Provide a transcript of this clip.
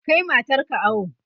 Kai matar ka awo!